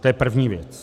To je první věc.